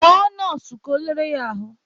Kpọọ nọọsụ ka ọ lere ya ahụ!